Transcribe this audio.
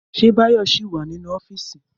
Ṣé Báyọ̀ ṣì wà nínú ọ́fíìsì?